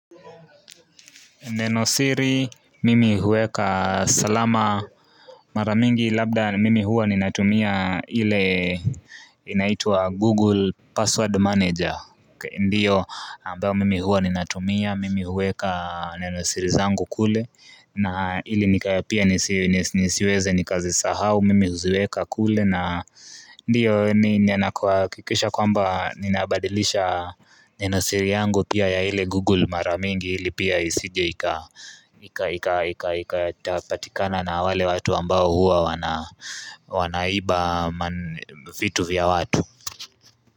Neno siri, mimi huweka salama mara mingi labda mimi huwa ninatumia ile inaitwa Google password Manager. Ndiyo, ambayo mimi huwa ninatumia, mimi huweka nenosiri zangu kule na ili nikawe pia nisiweze nikazisahau, mimi huziweka kule. Na ndiyo na kuhakikisha kwamba ninabadilisha nenosiri yangu pia ya ile google mara mingi ili pia isije ikatapatikana na wale watu ambao huwa wanaiba vitu vya watu.